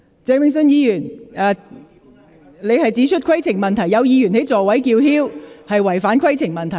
鄭泳舜議員，你提出規程問題，指有議員在座位上叫喊是違反《議事規則》。